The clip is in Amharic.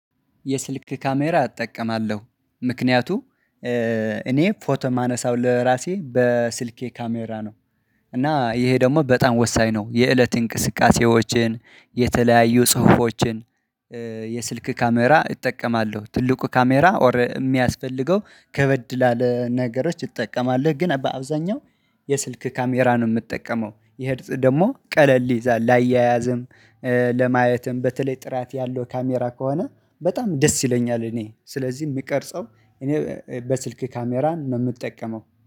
የስልክ ካሜራ እጠቀማለሁ ምክንያቱም እኔ ፎቶ የማነሳው ለራሴ በስልኬ ካሜራ ነው እና ይሄ ደግሞ በጣም ወሳኝ ነው የእለት እንቅስቃሴዎችን የተለያዩ ጽሁፎችን የስልክ ካሜራ እጠቀማለሁ ትልቁ ካሜራ የሚያስፈልገው ከበድ ላለ ነገሮች ይጠቀማለሁ ግን በአብዛኛው የስልክ ካሜራ ነው የምጠቀመው ይሄ ደግሞ ቀለል ይላል ላያያዝም ለማየትም በተለይ ጥራት ያለው ካሜራ ከሆነ በጣም ደስ ይለኛል እኔ ስለዚህ የምቀርጸው እኔ በስልክ ካሜራን ነው የምጠቀመው።